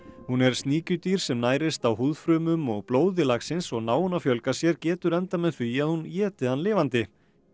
hún er sníkjudýr sem nærist á húðfrumum og blóði laxins og nái hún að fjölga sér getur endað með því að hún éti hann lifandi